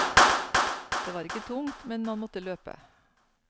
Det var ikke tungt, men man måtte løpe.